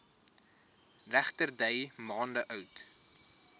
regterdy maande oud